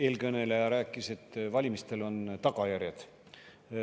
Eelkõneleja rääkis, et valimistel on tagajärjed.